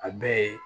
A bɛɛ ye